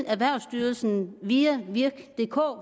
erhvervsstyrelsen via virkdk